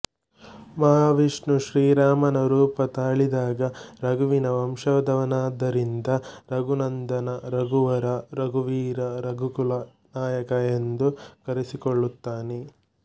ಮಹಾವಿಷ್ಣು ಶ್ರೀರಾಮನ ರೂಪ ತಾಳಿದಾಗ ರಘುವಿನ ವಂಶದವನಾದ್ದರಿಂದ ರಘುನಂದನ ರಘುವರ ರಘುವೀರ ರಘುಕುಲ ನಾಯಕ ಎಂದು ಕರೆಸಿಕೊಳ್ಳುತ್ತಾನೆ